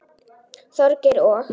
Þorgeir og